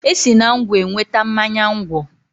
E si na ngwọ enweta mmanya ngwọ.